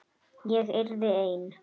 Ég yrði ein.